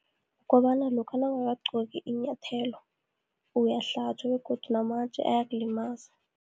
Kobana lokha nawungakagqoki inyathelo, uyahlatjwa, begodu namatje ayakulimaza.